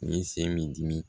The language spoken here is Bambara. U ye sen me dimi